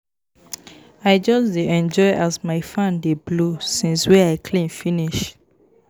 I just dey enjoy as my fan dey blow since wey I clean finish.